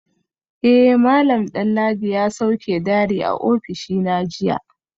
Eh malam Danladi ya sauke diary a ofishina jiya